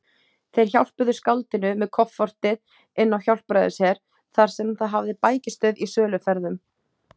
Þeir hjálpuðu skáldinu með koffortið inn á Hjálpræðisher, þar sem það hafði bækistöð í söluferðum.